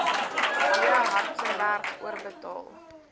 w hartzenberg oorbetaal